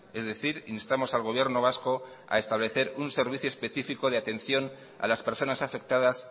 es decir instamos al gobierno vasco a establecer un servicio específico de atención a las personas afectadas